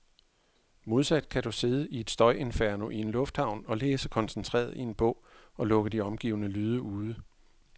Modsat kan du sidde i et støjinferno i en lufthavn og læse koncentreret i en bog, og lukke de omgivende lyde ude.